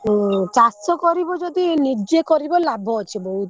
ହୁଁ ଚାଷ କରିବ ଯଦି ନିଜେ କରିବ ଲାଭ ଅଛି ବହୁତ।